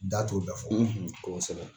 Da t'o bɛɛ fɔ kosɛbɛ.